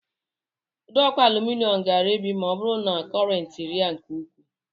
Ụdọọkụ alụminịọm ga-erebi ma ọ bụrụ na kọrentị rịa nke ukwuu